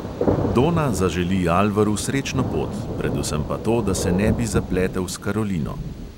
Dona zaželi alvaru srečno pot, predvsem pa to, da se ne bi zapletel s karolino.